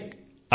Vinayak